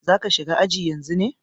Za ka shiga aji yanzu ne?